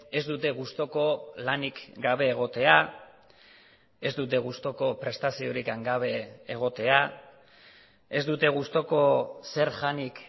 ez dute gustuko lanik gabe egotea ez dute gustuko prestaziorik gabe egotea ez dute gustuko zer janik